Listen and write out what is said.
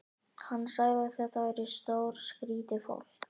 Hann sagði að þetta væri stórskrýtið fólk.